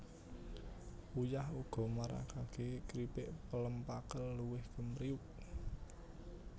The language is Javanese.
Uyah uga maragaké kripik pelem pakel luwih kempriyuk